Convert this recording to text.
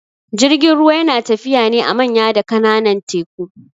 Jirgin ruwa yana tafiya ne a manya da kananan teku